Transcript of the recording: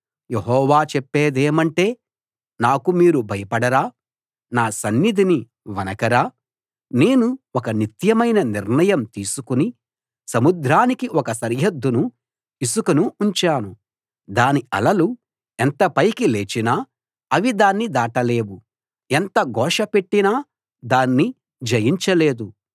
యెహోవా చెప్పేదేమంటే నాకు మీరు భయపడరా నా సన్నిధిని వణకరా నేను ఒక నిత్యమైన నిర్ణయం తీసుకుని సముద్రానికి ఒక సరిహద్దుగా ఇసుకను ఉంచాను దాని అలలు ఎంత పైకి లేచినా అవి దాన్ని దాటలేవు ఎంత ఘోష పెట్టినా దాన్ని జయించలేదు